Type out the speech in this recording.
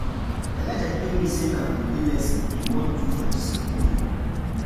Elijah tell me say na holiday lesson he wan do for dis holiday